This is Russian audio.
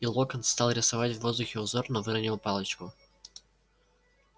и локонс стал рисовать в воздухе узор но выронил палочку